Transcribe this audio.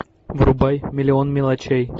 врубай миллион мелочей